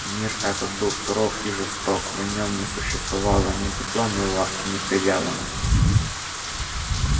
мир этот был суров и жесток в нём не существовало ни тепла ни ласки ни привязанностей